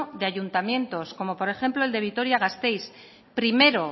de ayuntamientos como por ejemplo el de vitoria gasteiz primero